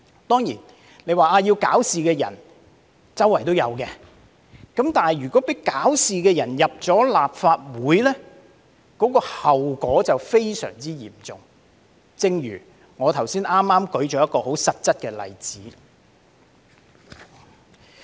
當然，大家會說搞事的人四處也有，但如果讓搞事的人進入立法會，後果便非常嚴重，正如我剛才舉出的實質例子一樣。